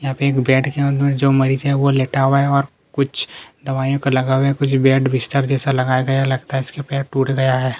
यहाँ पे एक बेड के ऊपर जो मरीज है वो लेटा हुआ है और कुछ दवाईयों का लगा हुआ है कुछ बेड बिस्तर जैसे लगाया गया है लगता है इसका पैर टूट गया है।